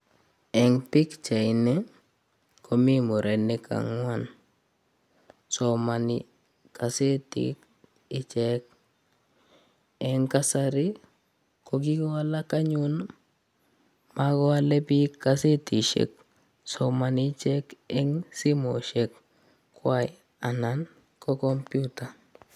Eng pikchait ini, komii murenik angwan. Somani kasetit ichek . Eng kasari, ko kikowalak anyun. Makoale biik kasetishek. Somani ichek eng simoshek kwai anan ko kompyuta.